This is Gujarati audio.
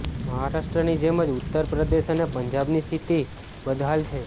મહારાષ્ટ્રની જેમ જ ઉત્તર પ્રદેશ અને પંજાબની સ્થિતિ બદ્હાલ છે